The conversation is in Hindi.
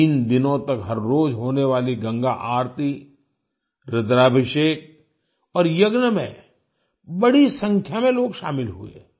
तीन दिनों तक हर रोज होने वाली गंगा आरती रुद्राभिषेक और यज्ञ में बड़ी संख्या में लोग शामिल हुए